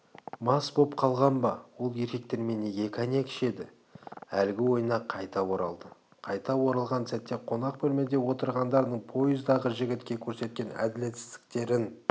мас боп қалған ба ол еркектермен неге коньяк ішеді әлгі ойына қайта оралды қайта оралған сәтте қонақ бөлмеде отырғандардың поездағы жігітке көрсеткен әділетсіздіктерін